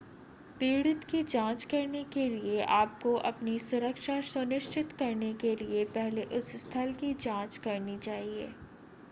पीड़ित की जांच करने के लिए आपको अपनी सुरक्षा सुनिश्चित करने के लिए पहले उस स्थल की जांच करनी चाहिए